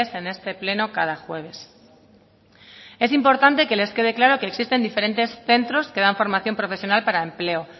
en este pleno cada jueves es importante que les quede claro que existen diferentes centros que dan formación profesional para el empleo